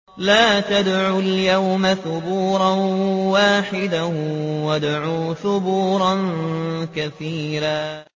لَّا تَدْعُوا الْيَوْمَ ثُبُورًا وَاحِدًا وَادْعُوا ثُبُورًا كَثِيرًا